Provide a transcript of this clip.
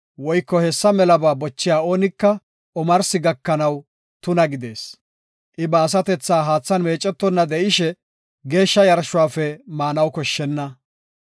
woyko hessa melaba bochiya oonika, omarsi gakanaw tuna gidees. I ba asatethaa haathan meecetonna de7ishe, geeshsha yarshuwafe maanaw koshshenna.